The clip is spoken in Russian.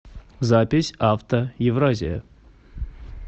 запись авто евразия